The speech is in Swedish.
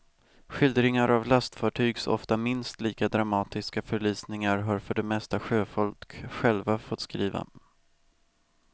Skildringar av lastfartygs ofta minst lika dramatiska förlisningar har för det mesta sjöfolk själva fått skriva.